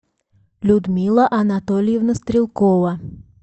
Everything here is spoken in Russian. людмила анатольевна стрелкова